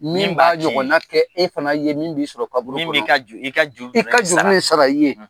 Min b'a ɲɔgɔnna kɛ i ye e fana ye min b'i sɔrɔ kaburu kƆnƆ i ka juru bƐ sara i ye.